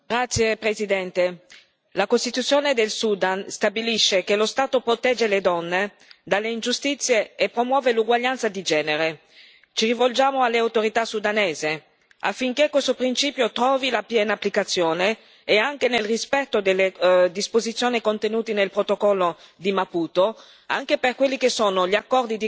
Signor Presidente, onorevoli colleghi, la Costituzione del Sudan stabilisce che lo Stato protegge le donne dalle ingiustizie e promuove l'uguaglianza di genere. Ci rivolgiamo alle autorità sudanesi affinché questo principio trovi piena applicazione, e anche nel rispetto delle disposizioni contenute nel protocollo di Maputo,